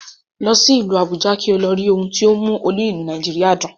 Lọ sí Àbújá kí o lọ rí ohun tó ń mú olú ìlú Nàìjíríà dùn